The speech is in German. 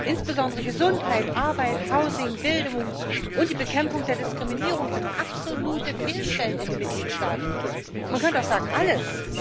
Insbesondere Gesundheit, Arbeit, Bildung und die Bekämpfung der Diskriminierung sind absolute Fehlstellen in den Mitgliedstaaten man könnte auch sagen alles.